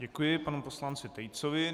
Děkuji panu poslanci Tejcovi.